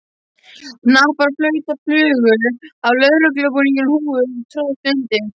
Hnappar og flautur flugu af lögreglubúningum og húfur tróðust undir.